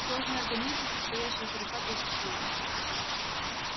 сложный организм состоящий из сорока тысяч клеток